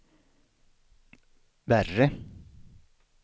värre